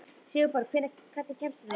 Sigurborg, hvernig kemst ég þangað?